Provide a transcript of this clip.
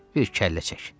Bir kəllə çək.